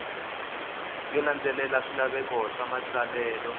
yo landzelela swilaveko swa matsalelo